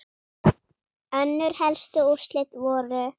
Önnur helstu úrslit voru